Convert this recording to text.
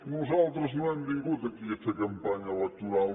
nosaltres no hem vingut aquí a fer campanya electoral